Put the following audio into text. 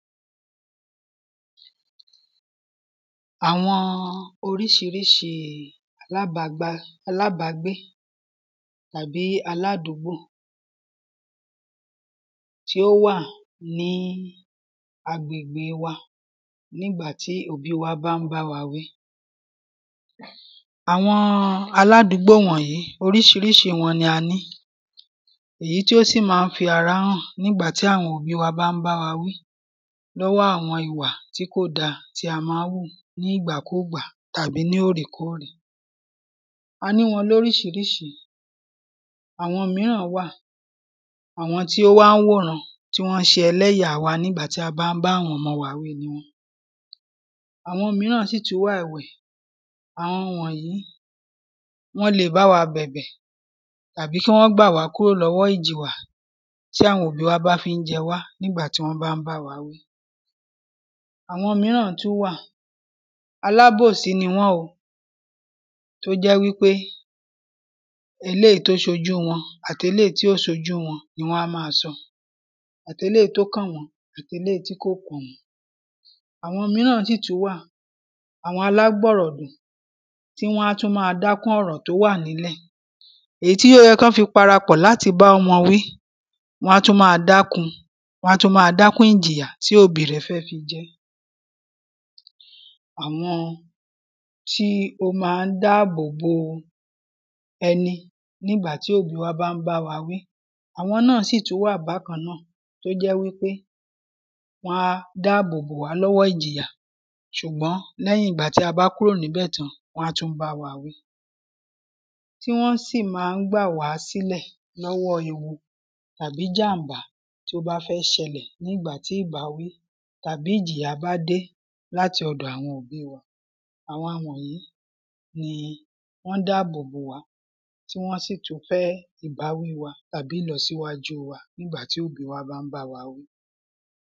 Àwọn oríṣiríṣi alábàágbà alábàágbé tàbí aládùgbò tí ó wà ní agbègbè wa ní ìgbà tí òbí wa bá ń bá wa wí. Àwọn aládùúgbò wọ̀nyí oríṣiríṣi wọn ni a ní èyí tí ó sì má ń fara hàn nígbà tí àwọn òbí wa bá ń báwa wí lọ́wọ́ àwọn ìwà tí kò dá tí a má ń hù nígbàkúgbà tàbí ní òrèkórè. A ní wọn lóríṣiríṣi àwọn míràn wà àwọn tí ó wá wòran tí wọ́n ń ṣe ẹlẹ́yà wa nígbà tí a bá ń bá àwọn ọmọ wa wí ni wọ́n. Àwọn míràn sì tún wà ẹ̀wẹ̀ àwọn wọ̀nyí wọ́n le bá wa bẹ̀bẹ̀ tàbí kí wọ́n gbà wá kúrò lọ́wọ́ ìjìyà tí àwọn òbí wa bá fí ń jẹ wá nígbà tí wọ́n bá ń bá wa wí. Àwọn míràn tún wà alábòsí ni wọ́n o tó jẹ́ wípé eléèyí tó ṣojú wọn àteléèyí tí ò ṣojú wọn ni wọ́n á má sọ àteléèyìí tó kàn wọ́n àteléèyìí tí ò kàn wọ́n. Àwọn míràn sì tún wà àwọn alágbọ̀rọ̀dùn tí wọ́n ó tún má dákún ọ̀rọ̀ tí ó wà nílẹ̀ èyí tí ó yẹ kí wọ́n fi parapọ̀ láti bá wọn wí wọ́n á tún má dákún wọ́n á tún má dákún ìjìyà tí òbí rẹ̀ yó fi jẹ́. Àwọn tí ó má ń dáàbò bo ẹni ní ìgbà tí òbí wa bá ń bá wa wí àwọn náà sì tún wà bákan náà tó jẹ́ pé wọ́n á dáàbò bo wá lọ́wọ́ ìjìyà ṣùgbọ́n lẹ́yìn ìgbà tí a bá kúrò níbẹ̀ tán wọ́n á tún bá wa wí. Tí wọ́n sì má ń gbà wá sílẹ̀ lọ́wọ́ ìyà àbí ìjàmbá tí ó bá fẹ́ ṣẹlẹ̀ nígbà tí ìbáwí tàbí ìjìyà bá dé lọ́wọ́ àwọn òbí wa àwọn wọ̀nyìí ni wọ́n ń dáàbò bò wá tí wọ́n sì tún fẹ́ ìbáwí wa tàbí ìlọsíwájú wa ní ìgbà tí òbí wa bá ń bá wa wí.